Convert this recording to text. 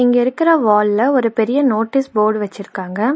இங்க இருக்கிற வால்ல ஒரு பெரிய நோட்டீஸ் போர்டு வச்சுருக்காங்க.